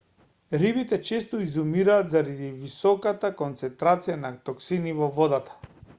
рибите често изумираат заради високата концентрација на токсини во водата